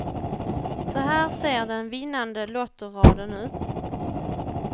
Så här ser den vinnande lottoraden ut.